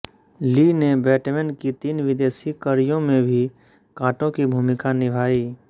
ली ने बैटमैन की तीन विदेशी कड़ियों में भी काटो की भूमिका निभाई